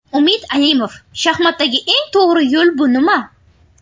Umid Alimov Shaxmatdagi eng to‘g‘ri yo‘l bu nima?